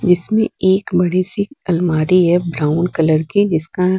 इसमें एक बड़ी सी अलमारी है ब्राउन कलर की जिसका--